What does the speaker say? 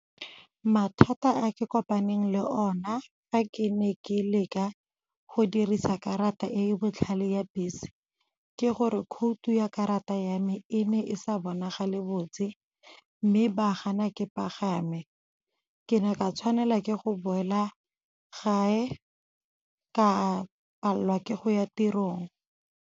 Mathata a ke kopaneng le ona fa ke ne ke leka go dirisa karata e e botlhale ya bese ke gore khoutu ya karata ya me e ne e sa bonagale botse mme ba gana ke pagame, ke ne ka tshwanela ke go boela gae ka palelwa ke go ya tirong.